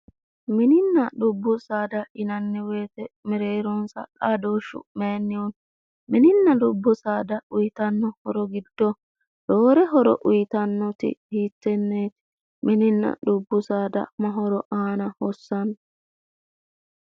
Mininna dubbu saada yinanni woyite mereeronsa xaadooshshu mayinnihu no? Mininna dubbu saada uyitanno horo giddo roore horo uyitannoti hiittenneeti? Mininna dubbu saada ma horo aana hossanno?